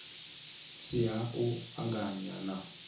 si ha u anganya na